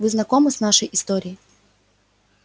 вы знакомы с нашей историей